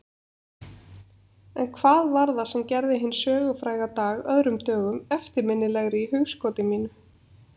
En hvað var það sem gerði hinn sögufræga dag öðrum dögum eftirminnilegri í hugskoti mínu?